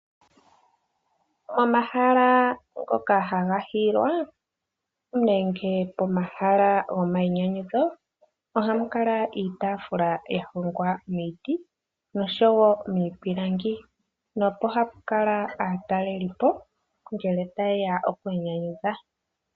Momahala ngoka haga hiyilwa nenge pomahala gomayinyanyudho ohamu kala iitafula yahongwa miiti oshowo miipilangi. Mpono hapu kala aatalelipo ngele ta yeya okwiinyanyudha.